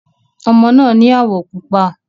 Ọmọ náà ni áwọ̀ pupa.